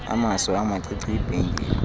amaso amacici ibhengile